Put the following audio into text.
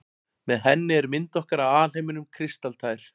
Með henni er mynd okkar af alheiminum kristaltær.